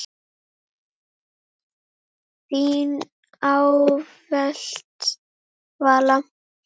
Þín ávallt, Vala.